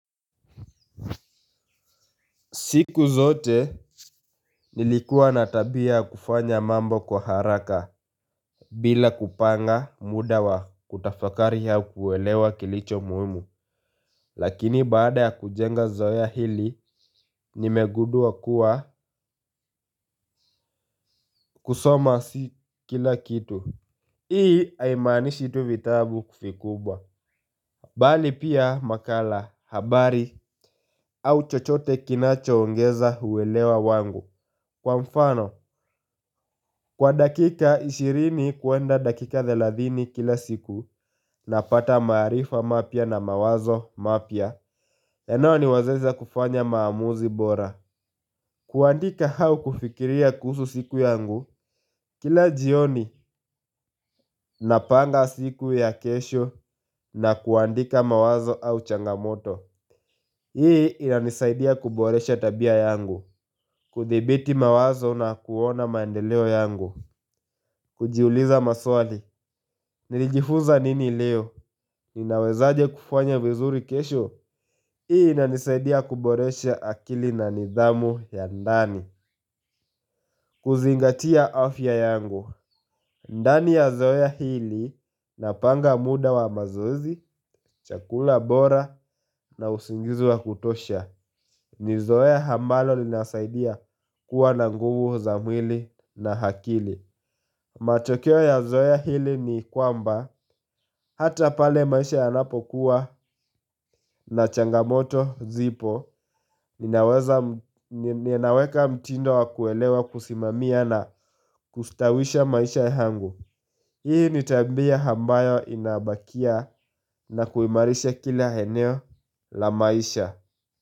Siku zote nilikuwa natabia ya kufanya mambo kwa haraka bila kupanga muda wa kutafakari au kuwelewa kilicho muhimu. Lakini baada ya kujenga zoea hili nimegudua kuwa kusoma si kila kitu. Hii aimanishi tuvitabu kufikubwa. Bali pia makala habari au chochote kinacho ongeza huwelewa wangu. Kwa mfano, kwa dakika ishirini kuenda dakika thelathini kila siku na pata maarifa mapya na mawazo mapya. Ya nao ni wazeza kufanya maamuzi bora. Kuandika hau kufikiria kuhusu siku yangu. Kila jioni napanga siku ya kesho na kuandika mawazo au changamoto. Hii inanisaidia kuboresha tabia yangu. Kuthibiti mawazo na kuona maendeleo yangu. Kujiuliza maswali, nilijifuza nini leo, ninawezaje kufanya vizuri kesho, ii ina nisaidia kuboresha akili na nidhamu ya ndani. Kuzingatia afya yangu, ndani ya zoea hili na panga muda wa mazoezi, chakula bora na usingizi wa kutosha. Ni zoea ambalo linasaidia kuwa na nguvu za mwili na hakili. Matokeo ya zoea hili ni kwamba hata pale maisha ya napokuwa na changamoto zipo ninaweka mtindo wa kuelewa kusimamia na kustawisha maisha ya angu. Hii nitabia ambayo inabakia na kuimarisha kila heneo la maisha.